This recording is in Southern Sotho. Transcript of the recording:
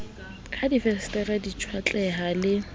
ha difensetere di tjhwatleha le